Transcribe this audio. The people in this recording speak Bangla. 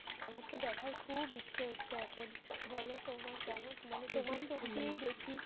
আমার তো দেখার খুব ইচ্ছে হচ্ছে এখন। বলো তোমার কেমন